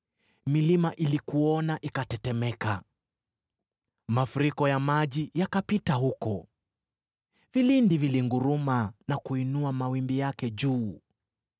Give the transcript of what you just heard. milima ilikuona ikatetemeka. Mafuriko ya maji yakapita huko; vilindi vilinguruma na kuinua mawimbi yake juu.